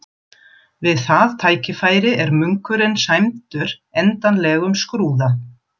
Við það tækifæri er munkurinn sæmdur endanlegum skrúða.